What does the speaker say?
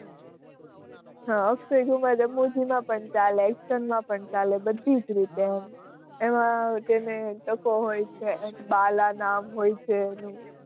હાં અક્ષય કુમાર રમૂજી માં પણ ચાલે, action માં પણ ચાલે બધી જ રીતે એમ, એમાં તેને ટકો હોય છે એમ બાલા નામ હોય છે એનું.